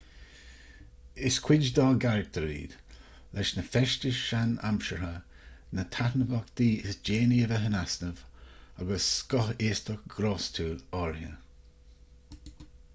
is cuid dá gcarachtar iad leis na feistis sean-aimseartha na taitneamhachtaí is déanaí a bheith in easnamh agus scothaostacht ghrástúil áirithe